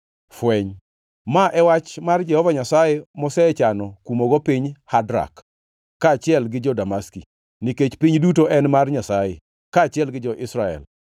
Fweny: Ma e wach mar Jehova Nyasaye mosechano kumogo piny Hadrak kaachiel gi jo-Damaski, nikech piny duto en mar Nyasaye kaachiel gi jo-Israel,